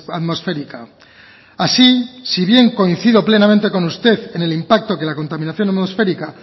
atmosférica así si bien coincido plenamente con usted en el impacto que la contaminación atmosférica